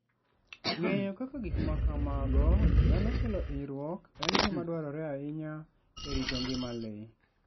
Ng'eyo kama gik ma kamago nyalo kelo hinyruok en gima dwarore ahinya e rito ngima le.